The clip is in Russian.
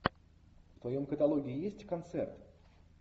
в твоем каталоге есть концерт